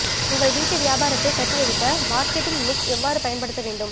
உங்கள் வீட்டு வியாபாரத்தை கட்டியெழுப்ப மார்க்கெட்டிங் மிக்ஸ் எவ்வாறு பயன்படுத்த வேண்டும்